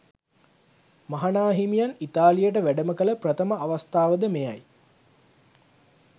මහනාහිමියන් ඉතාලියට වැඩමකළ ප්‍රථම අවස්ථාවද මෙයයි.